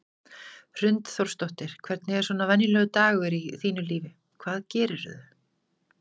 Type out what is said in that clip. Hrund Þórsdóttir: Hvernig er svona venjulegur dagur í þínu lífi, hvað gerirðu?